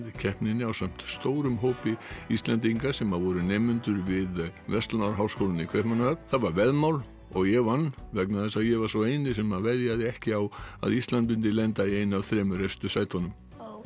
keppninni ásamt stórum hópi Íslendinga sem voru nemendur við verslunarháskólann í Kaupmannahöfn það var veðmál og ég vann vegna þess að ég var sá eini sem veðjaði ekki á að Ísland mundi lenda í einu af þremur efstu sætunum